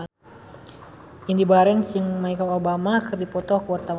Indy Barens jeung Michelle Obama keur dipoto ku wartawan